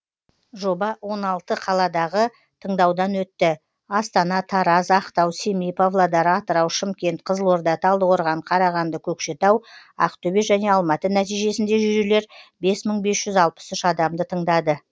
жоба он алты қаладағы тыңдаудан өтті астана тараз ақтау семей павлодар атырау шымкент қызылорда талдықорған қарағанды көкшетау ақтөбе және алматы нәтижесінде жюрилер бес мың бес жүз алпыс үш адамды тыңдады